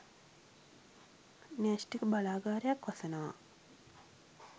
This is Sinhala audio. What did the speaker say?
න්‍යෂ්ටික බලාගාරයක් වසනවා